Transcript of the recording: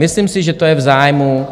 Myslím si, že to je v zájmu